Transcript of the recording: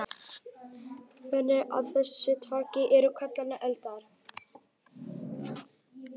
Goshrinur af þessu tagi eru kallaðar eldar.